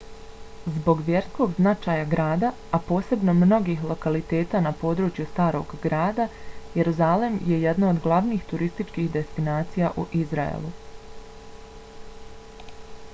zbog vjerskog značaja grada a posebno mnogih lokaliteta na području starog grada jerusalem je jedno od glavnih turističkih destinacija u izraelu